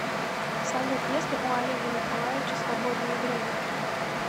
салют есть ли у олега николаевича свободное время